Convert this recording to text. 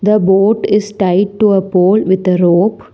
The boat is tie to a poll with a rope.